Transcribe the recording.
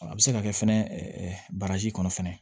A bɛ se ka kɛ fɛnɛ baraji kɔnɔ fɛnɛ